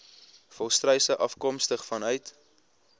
volstruise afkomstig vanuit